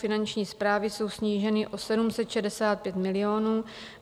Finanční správy jsou sníženy o 765 milionů.